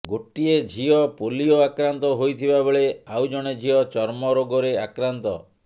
ଗୋଟିଏ ଝିଅ ପୋଲିଓ ଆକ୍ରାନ୍ତ ହୋଇଥିବାବେଳେ ଆଉ ଜଣେ ଝିଅ ଚର୍ମ ରୋଗରେ ଆକ୍ରାନ୍ତ